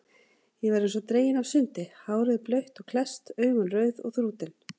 Ég var eins og dregin af sundi, hárið blautt og klesst, augun rauð og þrútin.